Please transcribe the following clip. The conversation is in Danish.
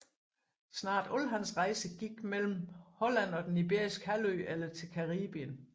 Næsten alle hans rejser gik mellem Holland og Den Iberiske Halvø eller til Caribien